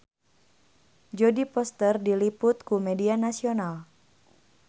Jodie Foster diliput ku media nasional